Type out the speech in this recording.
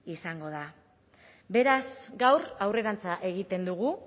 izango da beraz gaur aurrerantza egiten dugu